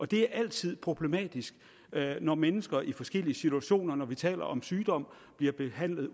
det er altid problematisk når mennesker i forskellige situationer når vi taler om sygdom bliver behandlet